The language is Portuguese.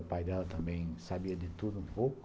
O pai dela também sabia de tudo um pouco.